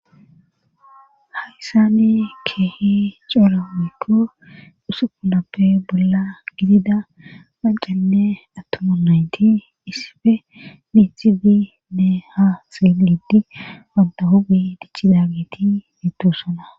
hayssani keehi celoomikko dhusupunappe bolla gidida mancanne attoma naynti issife mithibinne ha xeelidi wanta hubi dichchidageti mittossana